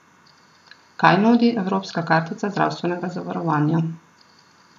Kaj nudi evropska kartica zdravstvenega zavarovanja?